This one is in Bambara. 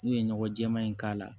N'u ye ɲɔgɔn jɛman in k'a la